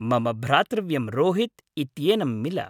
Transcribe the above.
मम भ्रातृव्यं रोहित् इत्येनं मिल।